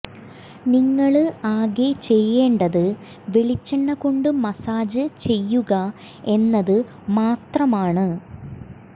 നിങ്ങള് ആകെ ചെയ്യേണ്ടത് വെളിച്ചെണ്ണ കൊണ്ട് മസ്സാജ് ചെയ്യുക എന്നത് മാത്രമാണ്